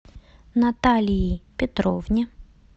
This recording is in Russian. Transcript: наталии петровне